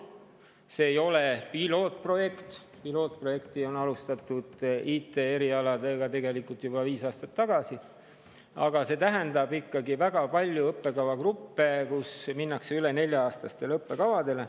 See ei ole pilootprojekt, pilootprojekti alustati IT‑erialadel tegelikult juba viis aastat tagasi, aga see tähendab ikkagi, et väga paljudes õppekavagruppides minnakse üle nelja-aastastele õppekavadele.